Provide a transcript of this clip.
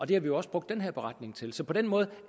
det har vi jo også brugt den her beretning til så på den måde